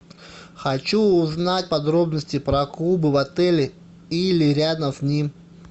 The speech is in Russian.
хочу узнать подробности про клубы в отеле или рядом с ним